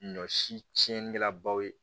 Ɲɔ si tiɲɛnikɛlabaw ye